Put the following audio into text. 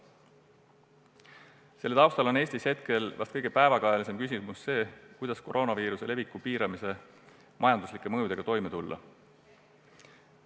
Selle taustal on Eestis hetkel vist kõige päevakajalisem küsimus see, kuidas koroonaviiruse leviku piiramise majanduslike mõjudega toime tulla.